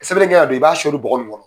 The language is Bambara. Sɛbɛnni kɛ don, i b'a sɔɔri bɔgɔ nin kɔnɔ.